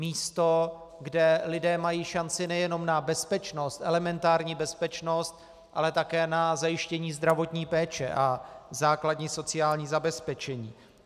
Místo, kde lidé mají šanci nejenom na bezpečnost, elementární bezpečnost, ale také na zajištění zdravotní péče a základní sociální zabezpečení.